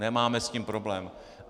Nemáme s tím problém.